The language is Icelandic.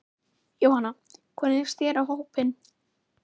Jóhanna: Hvernig leist þér á hópinn?